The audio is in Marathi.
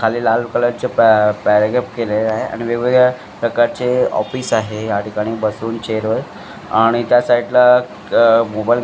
खाली लाल कलरचे केलेले आहे आणि वेगवेगळ्या प्रकारचे ऑफिस आहे या ठिकाणी बसून चेअरवर आणि त्या साईडला मोबाईल --